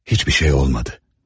Heç nə olmadı.